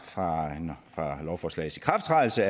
lovforslagets ikrafttrædelse